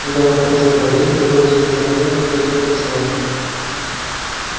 когда он кончил говорить не было и тени сомнений как пойдёт голосование